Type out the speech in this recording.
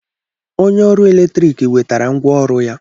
Onye ọrụ eletrik wetara ngwá ọrụ ya.